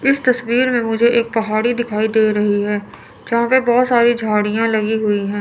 इस तस्वीर में मुझे एक पहाड़ी दिखाई दे रही है जहां पे बहोत सारी झाड़ियां लगी हुई हैं।